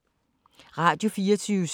Radio24syv